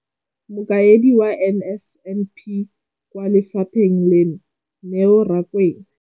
Mokaedi wa NSNP kwa lefapheng leno, Neo Rakwena,